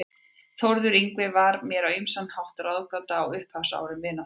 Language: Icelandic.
Þórður Yngvi var mér á ýmsan hátt ráðgáta á upphafsárum vináttunnar.